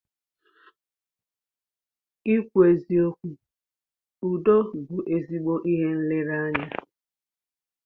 Ịkwụ eziokwu Udo bú ezigbo ihe nlereanya.